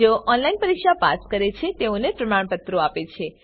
જેઓ ઓનલાઈન પરીક્ષા પાસ કરે છે તેઓને પ્રમાણપત્રો આપે છે